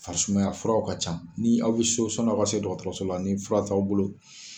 Farisumaya furaw ka can, ni aw bɛ so sɔni aw ka se dɔgɔtɔrɔso la ni fura t'aw bolo.